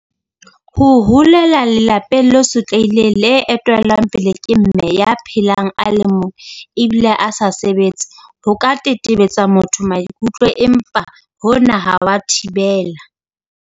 Ho holela lelapeng le sotlehileng le etellwang pele ke Mme ya phelang a le mong ebile a sa sebetse ho ka tetebetsa motho maikutlo empa hona ha wa thibela.